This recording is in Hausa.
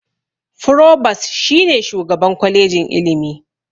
Furobas shi ne shugaban kwalejin Ilimi.